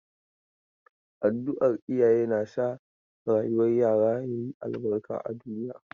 Addu'ar iyaye na sa rayuwar yara ya yi albarka a duniya.